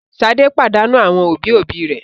Ṣadé pàdánù àwọn òbí-òbí rẹ̀?